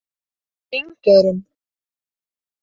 Þingeyrum